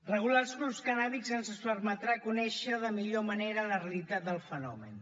regular els clubs cannàbics ens permetrà conèixer de millor manera la realitat del fenomen